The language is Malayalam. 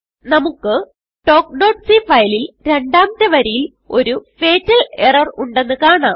നമുക്ക് talkസി ഫയലിൽ രണ്ടാമത്തെ വരിയിൽ ഒരു ഫത്തൽ എറർ ഉണ്ടെന്ന് കാണാം